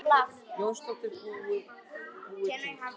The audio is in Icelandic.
Jónsdóttir búið til.